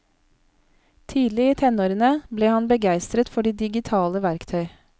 Tidlig i tenårene ble han begeistret for de digitale verktøy.